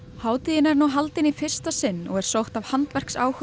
hátíðin er nú haldin í fyrsta sinn og er sótt af